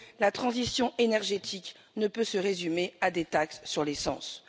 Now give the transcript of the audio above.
La transition énergétique ne peut se résumer à des taxes sur les carburants.